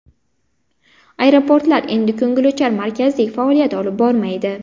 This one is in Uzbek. Aeroportlar endi ko‘ngilochar markazdek faoliyat olib bormaydi.